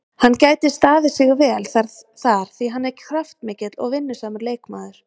Hann gæti staðið sig vel þar því hann er kraftmikill og vinnusamur leikmaður.